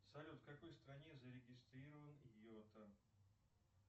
салют в какой стране зарегистрирован йота